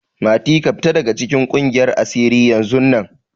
Mati, ka fita daga cikin ƙungiyar asiri yanzun nan!